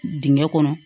Dingɛn kɔnɔ